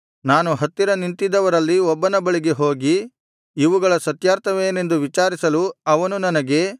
ನಾನು ಹತ್ತಿರ ನಿಂತಿದ್ದವರಲ್ಲಿ ಒಬ್ಬನ ಬಳಿಗೆ ಹೋಗಿ ಇವುಗಳ ಸತ್ಯಾರ್ಥವೇನೆಂದು ವಿಚಾರಿಸಲು ಅವನು ನನಗೆ